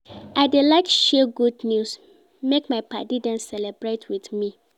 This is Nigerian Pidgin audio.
I dey like share good news make my paddy dem celebrate with me.